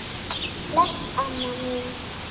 Bless, amma mín.